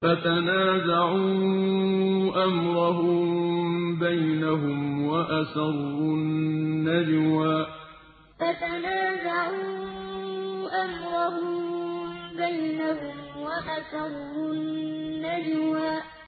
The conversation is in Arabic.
فَتَنَازَعُوا أَمْرَهُم بَيْنَهُمْ وَأَسَرُّوا النَّجْوَىٰ فَتَنَازَعُوا أَمْرَهُم بَيْنَهُمْ وَأَسَرُّوا النَّجْوَىٰ